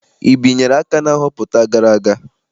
I binyere aka na nhọpụta gara aga?